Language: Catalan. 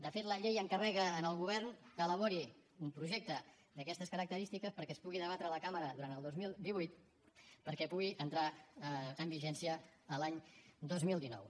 de fet la llei encarrega al govern que elabori un projecte d’aquestes característiques perquè es pugui debatre a la cambra durant el dos mil divuit perquè pugui entrar en vigència l’any dos mil dinou